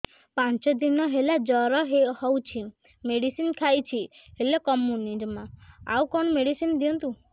ପାଞ୍ଚ ଦିନ ହେଲା ଜର ହଉଛି ମେଡିସିନ ଖାଇଛି ହେଲେ କମୁନି ଜମା ଆଉ କଣ ମେଡ଼ିସିନ ଦିଅନ୍ତୁ